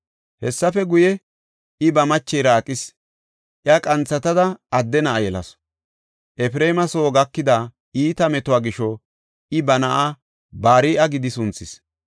Hessafe guye, I ba machera aqis; iya qanthatada adde na7a yelasu. Efreema soo gakida iita metuwa gisho I ba na7aa Bari7a gidi sunthis.